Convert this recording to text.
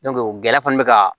gɛlɛya fana bɛ ka